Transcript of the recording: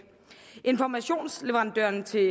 informationsleverandørerne til